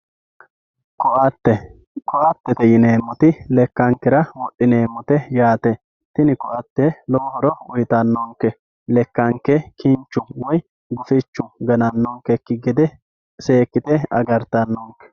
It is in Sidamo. Koatte, koattete yineemoti lekankera wodhineemotte yaate, tini koate lowo horo uyitano'nke lekanke ginchu woyi gufichu gana'nokeki gede seekkite agaritano'nke